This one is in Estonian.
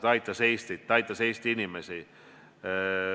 Ta aitas Eestit, ta aitas Eesti inimesi.